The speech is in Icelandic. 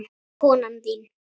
Konan þín?